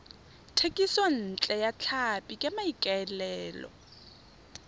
thekisontle ya tlhapi ka maikaelelo